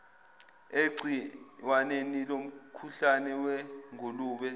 egciwaneni lomkhuhlane wezingulube